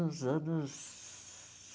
Nos anos